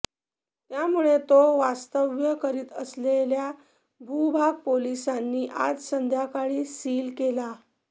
त्यामुळे तो वास्तव्य करीत असलेला भूभाग पोलिसांनी आज संध्याकाळी सील केला